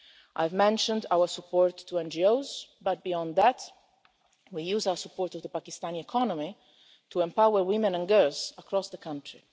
I've mentioned our support for NGOs, but beyond that we use our support for the Pakistani economy to empower women and girls across the country.